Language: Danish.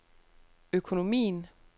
økonomien